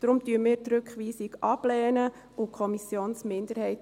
Deshalb lehnen wir die Rückweisung ab und unterstützen die Kommissionsminderheit.